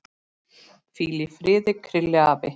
Hvíl í friði, Krilli afi.